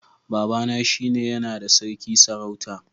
Baba na shi ne ya na da sarki sarauta